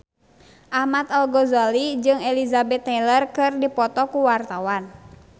Ahmad Al-Ghazali jeung Elizabeth Taylor keur dipoto ku wartawan